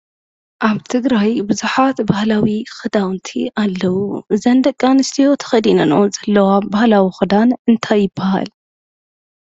ኣብ ትግራይ ብዙሓት ባህላዊ ክዳውንቲ ኣለዉ። እዘን ቂ ኣንስትዮ ተኸዲነንኦ ዘለዋ ባህላዊ ክዳና እነታይ ይባሃል?